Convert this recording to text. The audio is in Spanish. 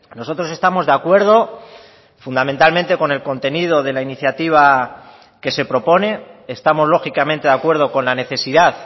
nosotros estamos de acuerdo fundamentalmente con el contenido de la iniciativa que se propone estamos lógicamente de acuerdo con la necesidad